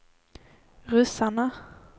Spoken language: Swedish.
ryssarna